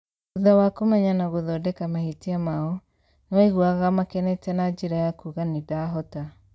Thutha wa kũmenya na gũthondeka mahĩtia maao, nĩwaiguaga makenete na njĩra ya kuuga ' nĩndahota'